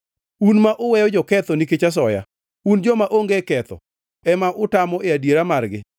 Un ma uweyo joketho nikech asoya, to joma onge ketho ema utamo e adiera margi.